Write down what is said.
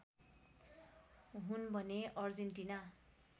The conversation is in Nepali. हुन् भने अर्जेन्टिना